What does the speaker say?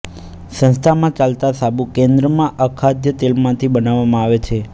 સંસ્થામાં ચાલતા સાબુ કેન્દ્રમાં અખાદ્ય તેલમાંથી બનાવવામાં આવે છે